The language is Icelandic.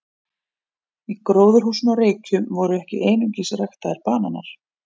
Í gróðurhúsinu á Reykjum voru ekki einungis ræktaðir bananar.